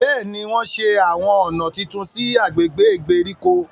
Béèni, wọn ṣe awọn ọna títún sí i agbègbè ìgbèríko